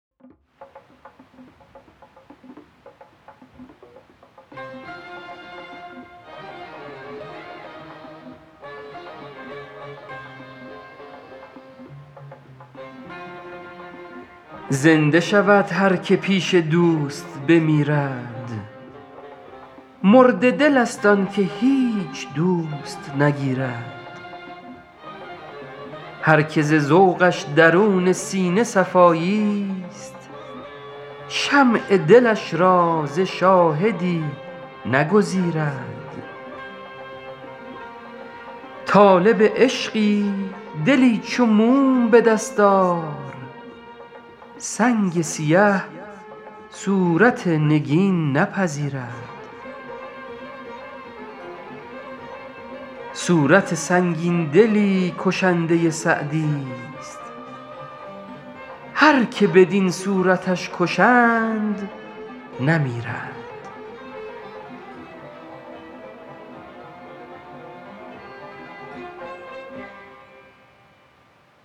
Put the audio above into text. زنده شود هر که پیش دوست بمیرد مرده دلست آن که هیچ دوست نگیرد هر که ز ذوقش درون سینه صفاییست شمع دلش را ز شاهدی نگزیرد طالب عشقی دلی چو موم به دست آر سنگ سیه صورت نگین نپذیرد صورت سنگین دلی کشنده سعدیست هر که بدین صورتش کشند نمیرد